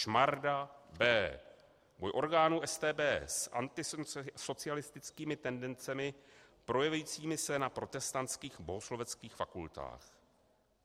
ŠMARDA, B.: Boj orgánů StB s antisocialistickými tendencemi projevujícími se na protestantských bohosloveckých fakultách.